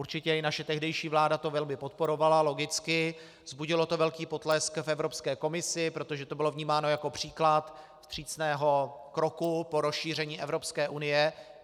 Určitě i naše tehdejší vláda to velmi podporovala, logicky, vzbudilo to velký potlesk v Evropské komisi, protože to bylo vnímáno jako příklad vstřícného kroku po rozšíření Evropské unie.